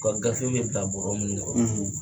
U ka gafew be bila bɔrɔ mun kɔnɔ